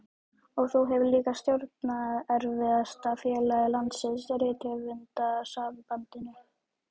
Og þú hefur líka stjórnað erfiðasta félagi landsins, Rithöfundasambandinu.